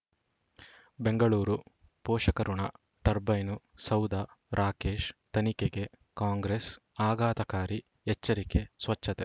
ಬೆಂಗಳೂರು ಪೋಷಕರಋಣ ಟರ್ಬೈನು ಸೌಧ ರಾಕೇಶ್ ತನಿಖೆಗೆ ಕಾಂಗ್ರೆಸ್ ಆಘಾತಕಾರಿ ಎಚ್ಚರಿಕೆ ಸ್ವಚ್ಛತೆ